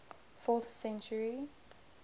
fourth century